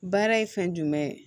Baara ye fɛn jumɛn ye